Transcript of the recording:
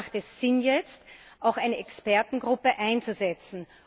Deshalb macht es Sinn, jetzt auch eine Expertengruppe einzusetzen.